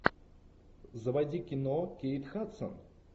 заводи кино кейт хадсон